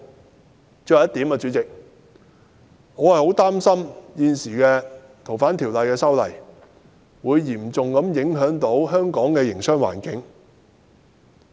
主席，我想說的最後一點，就是我很擔心現時《逃犯條例》的修訂，會嚴重影響香港的營商環境。